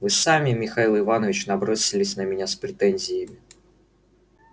вы сами михаил иванович набросились на меня с претензиями